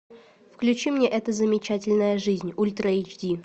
включи мне эта замечательная жизнь ультра эйч ди